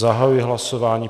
Zahajuji hlasování.